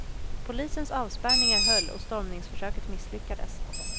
Polisens avspärrningar höll och stormningsförsöket misslyckades.